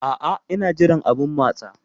A'a, ina jiran abun matsa.